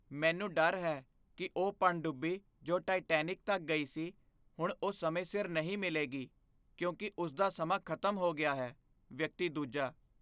ਮੈਨੂੰ ਡਰ ਹੈ ਕੀ ਉਹ ਪਣਡੁੱਬੀ ਜੋ ਟਾਇਟੈਨਿਕ ਤੱਕ ਗਈ ਸੀ, ਹੁਣ ਉਹ ਸਮੇਂ ਸਿਰ ਨਹੀਂ ਮਿਲੇਗੀ ਕਿਉਂਕਿ ਉਸਦਾ ਸਮਾਂ ਖ਼ਤਮ ਹੋ ਗਿਆ ਹੈ ਵਿਅਕਤੀ ਦੂਜਾ